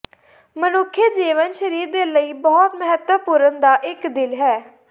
ਮਨੁੱਖੀ ਜੀਵਨ ਸਰੀਰ ਦੇ ਲਈ ਬਹੁਤ ਮਹੱਤਵਪੂਰਨ ਦਾ ਇੱਕ ਦਿਲ ਹੈ